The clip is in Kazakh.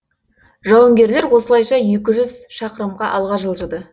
жауынгерлер осылайша екі жүз шақырымға алға жылжыды